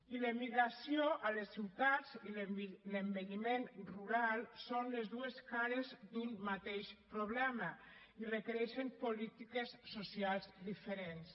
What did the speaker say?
i l’emigració a les ciutats i l’envelliment rural són les dues cares d’un mateix problema i requereixen polítiques socials diferents